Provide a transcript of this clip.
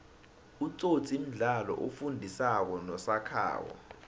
itsotsi mdlalo osifundi sako nosakhako